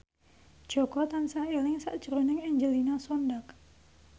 Jaka tansah eling sakjroning Angelina Sondakh